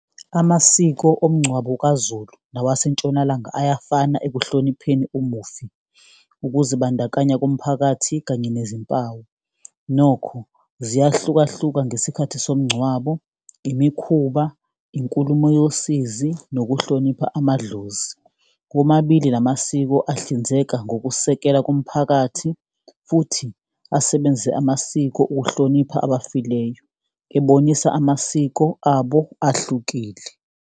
Amasiko omngcwabo kwaZulu nawaseNtshonalanga ayafana ekuhlonipheni umufi, ukuzibandakanya komphakathi kanye nezimpawu. Nokho, ziyahlukahlukana ngesikhathi somngcwabo, imikhuba, inkulumo yosizi nokuhlonipha amadlozi. Womabili la masiko ahlinzeka ngokusekela komphakathi futhi asebenzise amasiko ukuhlonipha abafileyo, ebonisa amasiko abo ahlukile.